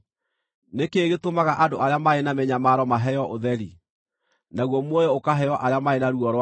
“Nĩ kĩĩ gĩtũmaga andũ arĩa marĩ na mĩnyamaro maheo ũtheri, naguo muoyo ũkaheo arĩa marĩ na ruo rwa ngoro,